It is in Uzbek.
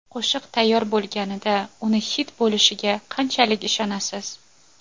Qo‘shiq tayyor bo‘lganida uni xit bo‘lishiga qanchalik ishonasiz?